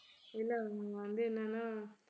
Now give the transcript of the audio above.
இல்லை வந்து என்னன்னா